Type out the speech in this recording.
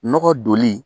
Nɔgɔ doni